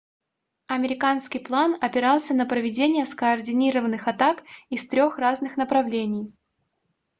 американский план опирался на проведение скоординированных атак из трёх разных направлений